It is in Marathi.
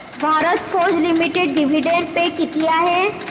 Bharat forge limited dividend pay किती आहे